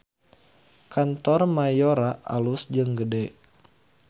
Kantor Mayora alus jeung gede